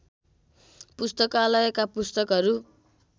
पुस्तकालयका पुस्तकहरू